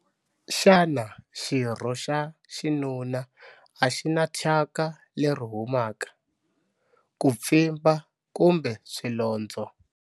Xana xirho xa xinuna a xi na thyaka leri humaka, ku pfimba kumbe swilondzo?